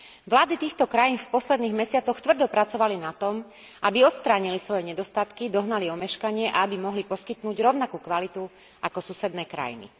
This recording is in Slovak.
Vlády týchto krajín v posledných mesiacoch tvrdo pracovali na tom, aby odstránili svoje nedostatky, dohnali omeškanie a aby mohli poskytnúť rovnakú kvalitu ako susedné krajiny.